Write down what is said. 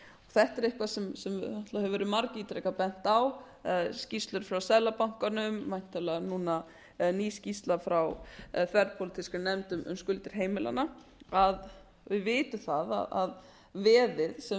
þetta er eitthvað sem hefur verið margítrekað bent á skýrslur frá seðlabankanum væntanlega núna eða ný skýrsla frá þverpólitískri nefnd um skuldir heimilanna að við vitum að veðið sem er á bak við